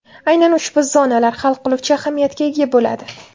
Aynan ushbu zonalar hal qiluvchi ahamiyatga ega bo‘ladi.